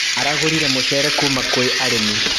Aragũrire mũcere kuma kwĩ arĩmi.